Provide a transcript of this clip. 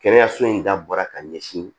Kɛnɛyaso in dabɔra ka ɲɛsin